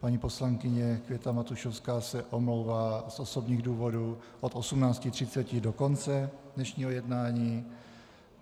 Paní poslankyně Květa Matušovská se omlouvá z osobních důvodů od 18.30 do konce dnešního jednání.